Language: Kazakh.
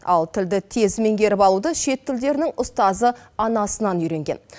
ал тілді тез меңгеріп алуды шет тілдерінің ұстазы анасынан үйренген